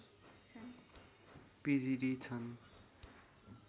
पिजिडि छन्